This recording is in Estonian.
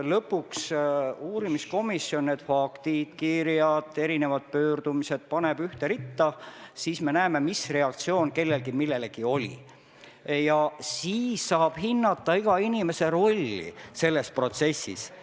Ent kui uurimiskomisjon lõpuks need faktid, kirjad, pöördumised ühte ritta paneb, küll me siis näeme, mis reaktsioon kellelgi millelegi oli, ning siis saame hinnata ka iga inimese rolli selles protsessis.